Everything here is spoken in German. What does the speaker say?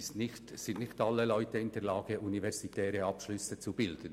Es sind nicht alle Leute in der Lage, einen universitären Abschluss zu erreichen.